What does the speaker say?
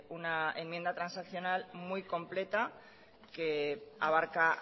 una enmienda transaccional muy completa que abarca